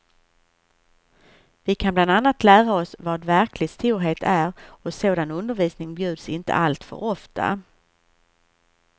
Vi kan bland annat lära oss vad verklig storhet är och sådan undervisning bjuds inte alltför ofta.